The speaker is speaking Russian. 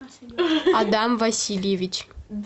адам васильевич